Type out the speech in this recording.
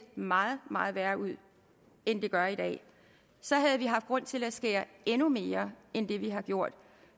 meget meget værre ud end det gør i dag så havde vi haft grund til at skære endnu mere end det vi har gjort